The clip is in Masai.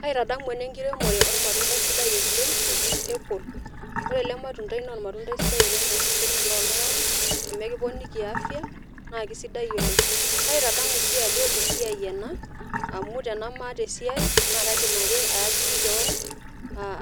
kaitadamu ena ekiremore olmatundai sidai oleng oji apple ore ele matundai naa olmatundai sidai oleng tooseseni loltung'anak amuu ekiponiki afya naa kisidai oleng, kaitadamu sii ajo esiai ena, amu tenemaata esiai naa kaidim ake aiajiri kewan